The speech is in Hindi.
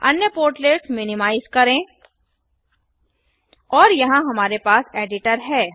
अन्य पोर्टलेट्स मिनिमाइज करें और यहाँ हमारे पास एडिटर है